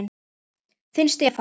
Þinn Stefán.